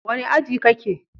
Wane aji kake?